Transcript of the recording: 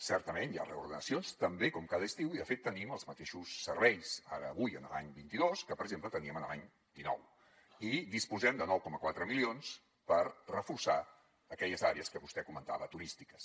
certament hi ha reordenacions també com cada estiu i de fet tenim els mateixos serveis ara avui l’any vint dos que per exemple teníem l’any dinou i disposem de nou coma quatre milions per reforçar aquelles àrees que vostè comentava turístiques